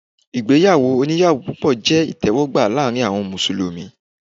Ìgbéyàwó onìyàwó púpọ̀ jẹ́ ìtẹ́wọ́gbà láàárín àwọn Mùsùlùmí.